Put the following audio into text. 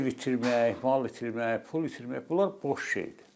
Ev itirmək, mal itirmək, pul itirmək, bunlar boş şeydir.